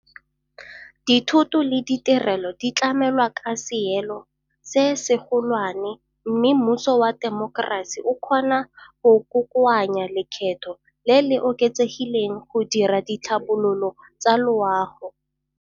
Dithoto le ditirelo di tlamelwa ka seelo se segolwane mme mmuso wa temokerasi o kgona go kokoanya lekgetho le le oketsegileng go dira ditlhabololo tsa loago.